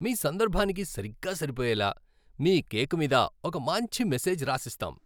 మీ సందర్భానికి సరిగ్గా సరిపోయేలా మీ కేక్ మీద ఒక మంచి మెసేజ్ రాసిస్తాం.